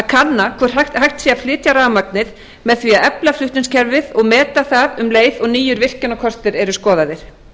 kanna hvort hægt sé að flytja rafmagnið með því að efla flutningskerfið og meta það um leið og nýir virkjunarkostir eru skoðaðir